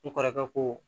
Ne kɔrɔkɛ ko